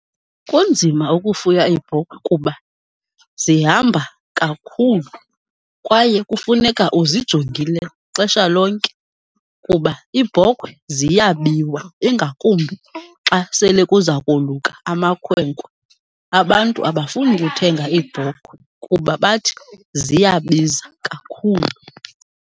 Kunzima ukufuya iibhokhwe kuba zihamba kakhulu kwaye kufuneka uzijongile xesha lonke kuba iibhokhwe ziyabiwa, ingakumbi xa sele kuza koluka amakhwenkwe. Abantu abafuni kuthenga iibhokhwe kuba bathi ziyabiza kakhulu.